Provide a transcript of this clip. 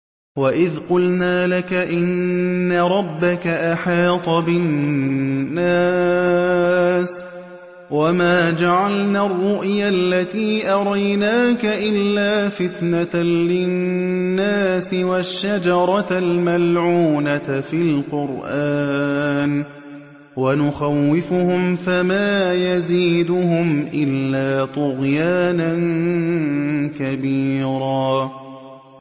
وَإِذْ قُلْنَا لَكَ إِنَّ رَبَّكَ أَحَاطَ بِالنَّاسِ ۚ وَمَا جَعَلْنَا الرُّؤْيَا الَّتِي أَرَيْنَاكَ إِلَّا فِتْنَةً لِّلنَّاسِ وَالشَّجَرَةَ الْمَلْعُونَةَ فِي الْقُرْآنِ ۚ وَنُخَوِّفُهُمْ فَمَا يَزِيدُهُمْ إِلَّا طُغْيَانًا كَبِيرًا